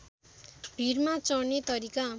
भीरमा चढ्ने तरिका